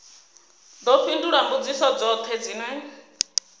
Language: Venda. ḓo fhindula mbudziso dzoṱhe dzine